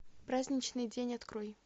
праздничный день открой